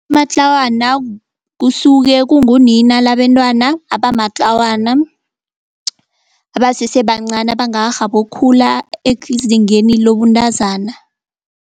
Matlawana kusuke kungunina labentwana abamatlawana abasese bancani abangakarhabi ukukhula ezingeni lobuntazana.